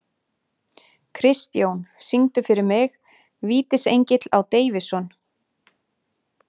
Kristjón, syngdu fyrir mig „Vítisengill á Davidson“.